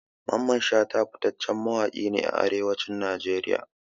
Mamman shata fitaccen mawaƙi ne a Arewacin Najeriya.